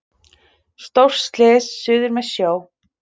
Stórt slys suður með sjó.